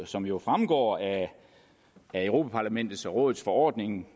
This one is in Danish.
som jo fremgår af europa parlamentets og europa rådets forordning